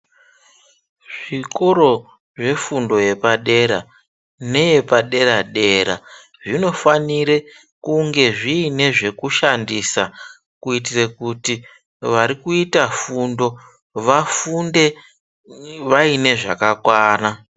Zvikoro zvefundo yepadera neyepadera dera zvinofanire kunge zviine zvekushandisa kuitire kuti varikuita fundo vafunde vaine zvakakwana.